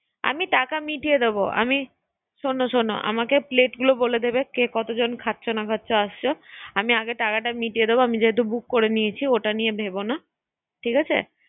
আমি সবাই মিলে যেন আমি টাকাটা মিটিয়ে দেবো আমি শোনো শোনো আমাকে প্লেটগুলো বলে দেবে, কে কতজন খাচ্ছ না খাচ্ছ আসছো আমি আগে টাকাটা মিটিয়ে দেবো আমি যেহেতু বুক করে নিয়েছি ওটা নিয়ে ভেবো না ঠিক আছে